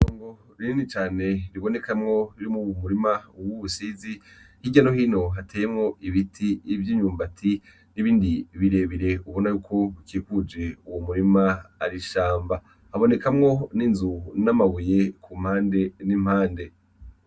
Ngo ririni cane ribonekamwo iri mu wmurima uwo uwusizi nk'iryano hino hateyemwo ibiti ivyo inyumbati n'ibindi birebere ubona yuko bikiguje uwu murima arishamba habonekamwo n'inzu n'amabuye ku mpande n'impande.